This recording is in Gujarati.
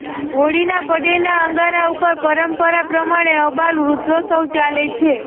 હોળીના પડેલા અંગારા ઉપર પરંપરા પ્રમાણે અબાલ વૃદ્ધો સૌ ચાલે છે